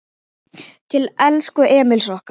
Til elsku Emils okkar.